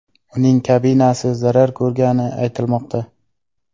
Uning kabinasi zarar ko‘rgani aytilmoqda.